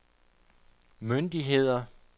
myndigheder